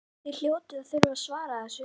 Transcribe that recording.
Þið hljótið að þurfa að svara þessu?